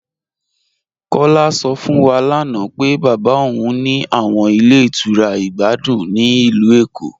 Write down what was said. Kọla sọ fún wà lána pé baba ọun ní àwọn ilẹ̀ ìtura ìgbàdùn ní ilù Ékó.